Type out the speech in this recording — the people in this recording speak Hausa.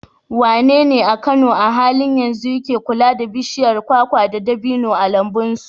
Wanene a Kano a halin yanzu yake kula da bishiyar kwakwa da dabino a lambun su?